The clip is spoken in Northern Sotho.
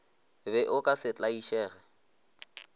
be o ka se tlaišege